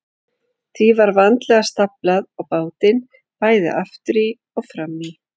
Því var vandlega staflað á bátinn, bæði aftur í og fram í.